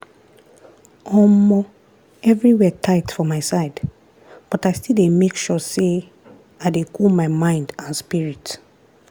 omoeverywhere tight for my side but i still dey make sure say i dey cool my mind and spirit.